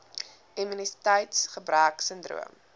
immuniteits gebrek sindroom